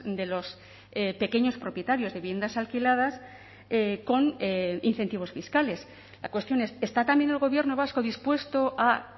de los pequeños propietarios de viviendas alquiladas con incentivos fiscales la cuestión es está también el gobierno vasco dispuesto a